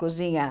Cozinhar.